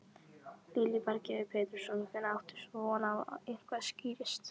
Lillý Valgerður Pétursdóttir: Hvenær áttu von á að eitthvað skýrist?